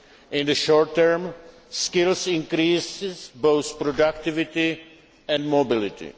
In the short term, skills increase both productivity and mobility.